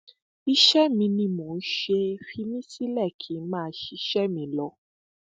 iṣẹ mi ni mò ń ṣe é fi mí sílẹ kí n máa ṣiṣẹ mi lọ